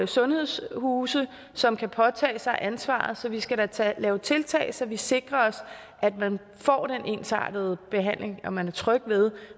sundhedshuse som kan påtage sig ansvaret så vi skal da da lave tiltag så vi sikrer os at man får den ensartede behandling og at man er tryg ved